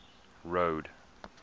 road